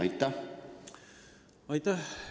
Aitäh!